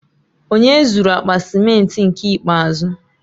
Onye zụru akpa cimenti nke ikpeazụ?